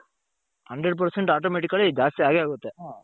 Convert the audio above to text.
hundred percent automatically ಜಾಸ್ತಿ ಆಗೇ ಆಗುತ್ತೆ ಹ.